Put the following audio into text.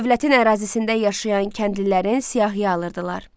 Dövlətin ərazisində yaşayan kəndlilərin siyahıya alırdılar.